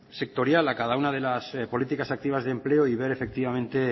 sectorial a cada una de las políticas activas de empleo y ver efectivamente